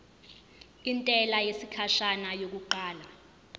intela yesikhashana yokuqala